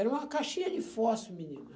Era uma caixinha de fósforo, menina.